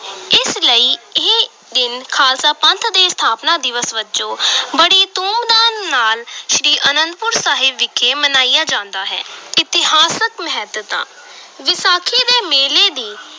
ਇਸ ਲਈ ਇਹ ਦਿਨ ਖ਼ਾਲਸਾ ਪੰਥ ਦੇ ਸਥਾਪਨਾ ਦਿਵਸ ਵਜੋਂ ਬੜੀ ਧੂਮ-ਧਾਮ ਨਾਲ ਸ੍ਰੀ ਅਨੰਦਪੁਰ ਸਾਹਿਬ ਵਿਖੇ ਮਨਾਇਆ ਜਾਂਦਾ ਹੈ ਇਤਿਹਾਸਕ ਮਹੱਤਤਾ ਵਿਸਾਖੀ ਦੇ ਮੇਲੇ ਦੀ